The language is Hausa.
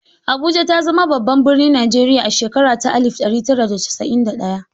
Abuja ta zama babban birnin Najeriya a shekara ta alif ɗari tara da casa'in da ɗaya.